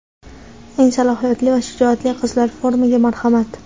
Eng salohiyatli va shijoatli qizlar forumiga marhamat!.